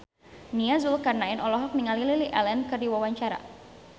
Nia Zulkarnaen olohok ningali Lily Allen keur diwawancara